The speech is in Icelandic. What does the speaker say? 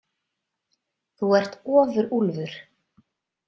Þú ert ofurúlfur.